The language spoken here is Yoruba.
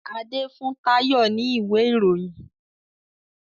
Ade fún Tayo ní ìwé Ìròyìn.